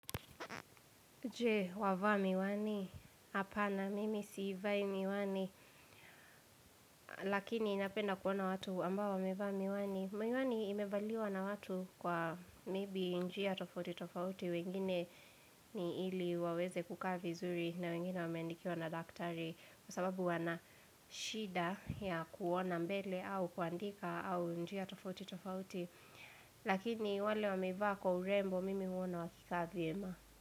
Je wavaa miwani, hapa na mimi siivai miwani Lakini napenda kuona watu ambao wamevaa miwani Miwani imevaliwa na watu kwa meibi njia tofauti tofauti wengine ni ili waweze kukaavi zuri na wengine wameandikiwa na daktari Kwa sababu wana shida ya kuona mbele au kuandika au njia tofauti tofauti Lakini wale wamevaa kwa urembo mimi huona wakikaa vyema.